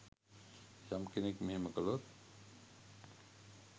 යම් කෙනෙක් මෙහෙම කළොත්